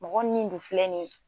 Mɔgɔ nin dun filɛ nin ye